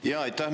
Jaa, aitäh!